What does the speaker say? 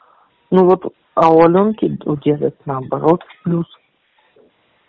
ну вот а у алёнки у деда наоборот плюс